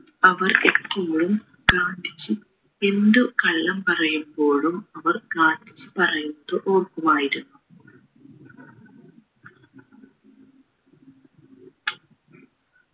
അവർ എപ്പോഴും ഗാന്ധിജി എന്ത് കള്ളം പറയുമ്പോഴും അവർ ഗാന്ധിജി പറയുന്നത് ഓർക്കുമായിരിന്നു